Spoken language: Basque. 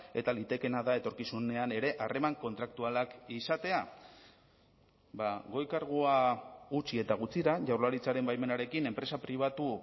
eta litekeena da etorkizunean ere harreman kontraktualak izatea goi kargua utzi eta gutxira jaurlaritzaren baimenarekin enpresa pribatu